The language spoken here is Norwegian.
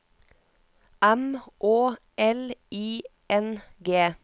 M Å L I N G